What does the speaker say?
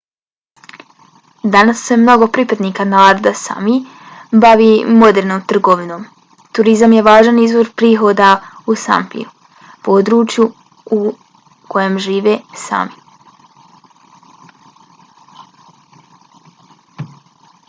danas se mnogo pripadnika naroda sámi bavi modernom trgovinom. turizam je važan izvor prihoda u sápmiju području u kojem žive sámi